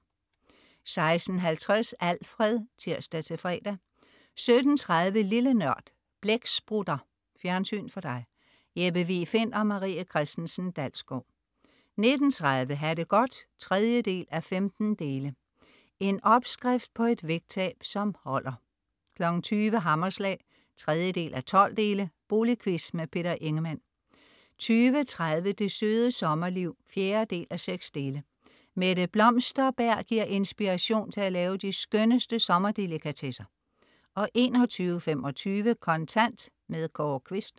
16.50 Alfred (tirs-fre) 17.30 Lille Nørd. Blæksprutter. Fjernsyn for dig. Jeppe Vig Find & Marie Christensen Dalsgaard 19.30 Ha' det godt 3:15. En opskrift på et vægttab, som holder 20.00 Hammerslag 3:12. Boligquiz. Peter Ingemann 20.30 Det Søde Sommerliv 4:6. Mette Blomsterberg giver inspiration til at lave de skønneste sommerdelikatesser 21.25 Kontant. Kåre Quist